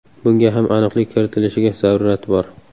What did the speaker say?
Bunga ham aniqlik kiritilishiga zarurat bor.